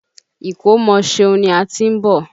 Ìkómọ Ṣeun ni a ti ń bọ̀.